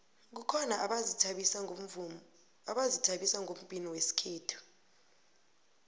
kukhona abazithabisa ngombhino wesikhethu